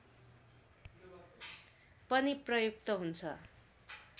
पनि प्रयुक्त हुन्छ